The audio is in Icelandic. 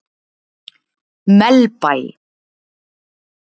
Melbæ